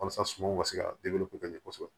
Walasa sumanw ka se ka kosɛbɛ